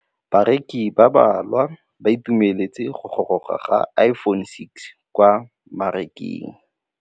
Bareki ba ba malwa ba ituemeletse go gôrôga ga Iphone6 kwa mmarakeng.